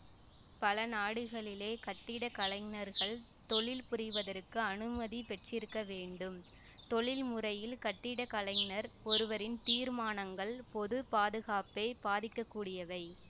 பல நாடுகளிலே கட்டிடக்கலைஞர்கள் தொழில்புரிவதற்கு அனுமதி பெற்றிருக்கவேண்டும் தொழில் முறையில் கட்டிடக் கலைஞர் ஒருவரின் தீர்மானங்கள் பொது பாதுகாப்பைப் பாதிக்க கூடியவை